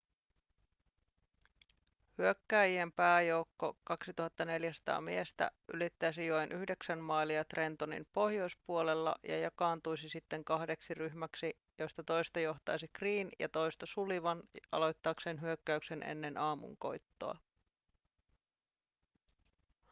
hyökkääjien pääjoukko 2 400 miestä ylittäisi joen yhdeksän mailia trentonin pohjoispuolella ja jakaantuisi sitten kahdeksi ryhmäksi joista toista johtaisi greene ja toista sullivan aloittaakseen hyökkäyksen ennen aamunkoittoa